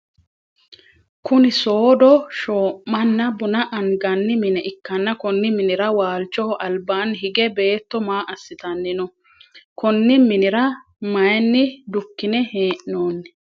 Kunni soodo shoo'manna bunna anganni mine ikanna konni minnira waalchoho albaanni hige beetto maa asitanni no? Konni minnira mayinni dukine hee'noonni?